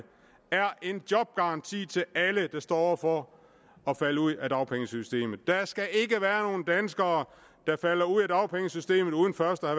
er en jobgaranti til alle der står over for at falde ud af dagpengesystemet der skal ikke være danskere der falder ud af dagpengesystemet uden først at